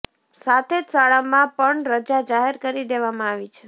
સાથે જ શાળામાં પણ રજા જાહેર કરી દેવામાં આવી છે